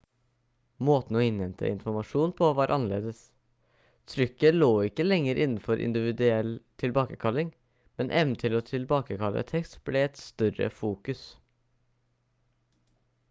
måten å innhente informasjon på var annerledes trykket lå ikke lenger innenfor individuell tilbakekalling men evnen til å tilbakekalle tekst ble et større fokus